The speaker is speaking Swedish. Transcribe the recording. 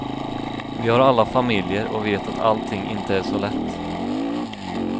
Vi har alla familjer och vet att allting inte är så lätt.